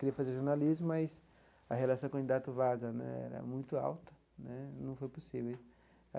Queria fazer jornalismo, mas a relação candidato vaga né era muito alta né, não foi possível.